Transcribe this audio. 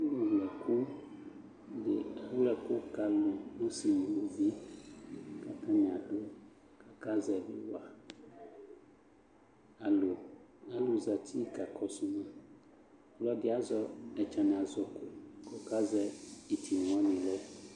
Ɔlʋwlɛkʋ dɩ awlɛ ɛkʋ ka alʋ ɔsɩ nʋ uluvi kʋ atanɩ adʋ kʋ akazɛvɩ wa Alʋ alʋ zati kakɔsʋ ma Ɔlɔdɩ azɛ ɛtsanazɔko kʋ ɔkazɛ ɩtɩna wanɩ lɛ